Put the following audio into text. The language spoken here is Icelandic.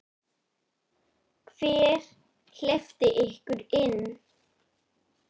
Hver hleypti ykkur inn?